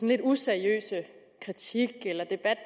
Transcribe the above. lidt useriøse kritik eller debat